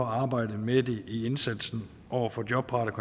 arbejde med det i indsatsen over for jobparate